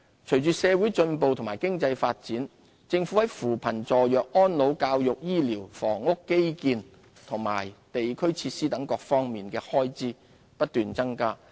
隨着社會進步和經濟發展，政府在扶貧、助弱、安老、教育、醫療、房屋、基建和地區設施等各方面的開支不斷增加。